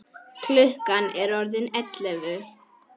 Klukkan er orðin ellefu.